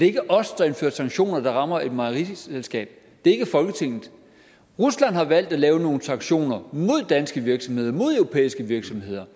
ikke os der indfører sanktioner der rammer et mejeriselskab det er ikke folketinget rusland har valgt at lave nogle sanktioner mod danske virksomheder mod europæiske virksomheder